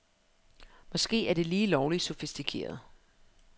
Måske er det lige lovligt sofistikeret.